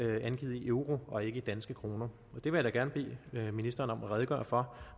er angivet i euro og ikke i danske kroner jeg vil da gerne bede ministeren om at redegøre for